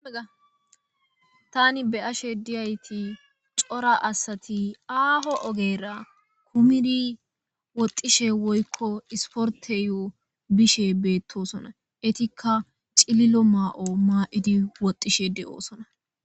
Tani beyashe dizaysi cora asati aaho ogera kumid woxishe woyko sporteyo bishe betosona, etika cililo mayo ma'id woxishe betosona.